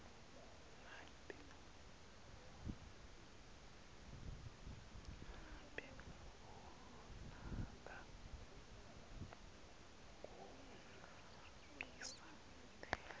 ngabe unako kungahambisani